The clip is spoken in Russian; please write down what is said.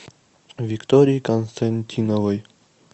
виктории константиновой